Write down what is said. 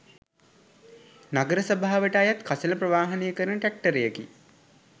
නගර සභාවට අයත් කසළ ප්‍රවාහනය කරන ට්‍රැක්ටරයකි